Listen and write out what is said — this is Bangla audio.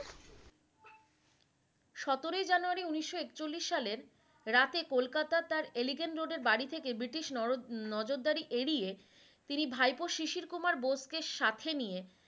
সতেরো জানুয়ারি উনিশ একচল্লিশ সালের রাতে কলকাতা তা এলিগেন্ট রোডের বাড়ি থেকে ব্রিটিশ নর নর নজরদারি এড়িয়ে তিনি ভাইপো শিশির কুমার বোসকে সাথে নিয়ে